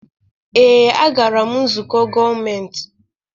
Ee, a gara m nzukọ gọọmentị.